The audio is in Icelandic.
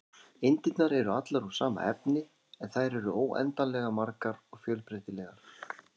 Eindirnar eru allar úr sama efni, en þær eru óendanlega margar og fjölbreytilegar.